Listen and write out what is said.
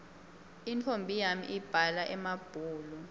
intfombi yami ibhala emabhulu